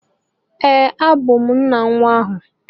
Ee, abụ m nna nwa ahụ